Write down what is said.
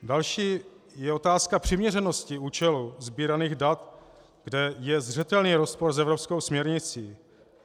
Další je otázka přiměřenosti účelu sbíraných dat, kde je zřetelný rozpor s evropskou směrnicí.